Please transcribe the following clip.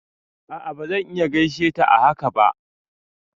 A'a bazan iya gaishe ta a haka ba